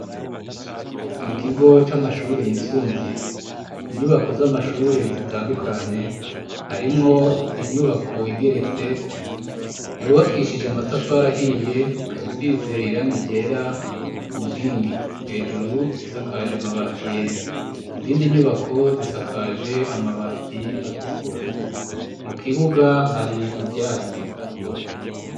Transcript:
Mukigo c'amashure yisumbuye inyubako z'amashure zitandukanye harimwo inyubako igeretse yubakishije amatafari ahiye, ikabisize irangi ryera ku nkingi, hejuru isakaje amabati yera izindi nyubako zisakaje amabati atukura mu kibuga hari ivyatsi.